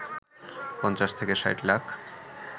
৫০ থেকে ৬০ লাখ